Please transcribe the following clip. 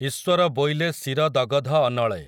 ଈଶ୍ୱର ବୋଇଲେ ଶିର ଦଗଧ ଅନଳେ ।